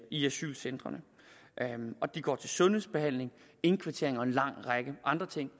i asylcentrene og de går til sundhedsbehandling indkvartering og en lang række andre ting